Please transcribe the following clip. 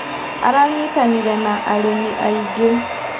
Aranyitanĩire na arĩmi aingĩ.